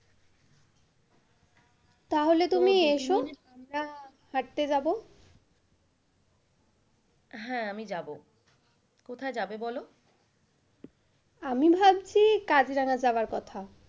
তাহলে তুমি এসো হাঁটতে যাবো। হ্যাঁ আমি যাবো, কোথায় যাব বলো? আমি ভাবছি কাজিরাঙা যাওয়ার কথা।